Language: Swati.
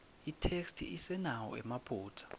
itheksthi isenawo emaphutsa